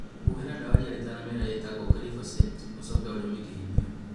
Huhĩra dawa ya ria rĩtanaumĩra ĩtagwo glyphosate ũcoke ũrĩme kĩhinyio